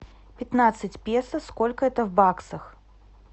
пятнадцать песо сколько это в баксах